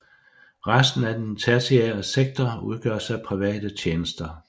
Resten af den tertiære sektor udgøres af private tjenester